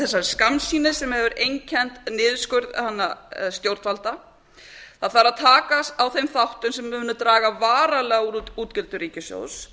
hætta þessari skammsýni sem hefur einkennt niðurskurð stjórnvalda það þarf að taka á þeim þáttum sem munu draga varanlega úr útgjöldum ríkissjóðs